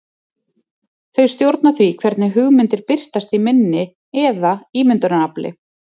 Þau stjórna því hvernig hugmyndir birtast í minni eða ímyndunarafli.